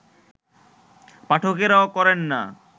পাঠকেরাও করেন না